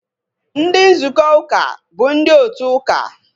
Ndị nzukọ uka bụ ndị otu ụka